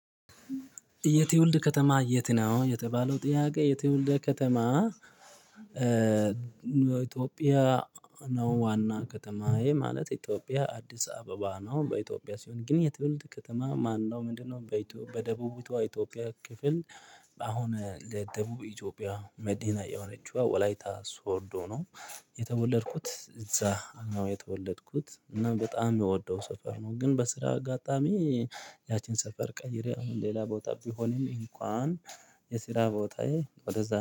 የትውልድ ከተማ የት? ነው የተባለው ጥያቄ የትውልዴ ከተማ። ኢትዮጵያ ነው ዋና ከተማዬ ማለት ኢትዮጵያ አዲስ አበባ ነው። በኢትዮጵያ ሲሆን ግን የትውልድ ከተማ ማነው ምንድነው? በኢትዮ በደቡቢቷ ኢትዮጵያ ክፍል በአሁን ለደቡብ ኢትዮጵያ መዲና የሆነችው ወላይታ ሶዶ ነው። የተወለድኩት እዛ ነው የተወለድኩት እና በጣም የምወደው ሰፈር ነው። ግን በስራ አጋጣሚ ያቺን ሰፈር ቀይሬ አሁን ሌላ ቦታ ቢሆንም እንኳን የሲራ ቦታዬ ወደዛ